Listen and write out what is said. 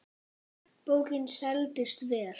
Bókin seldist vel.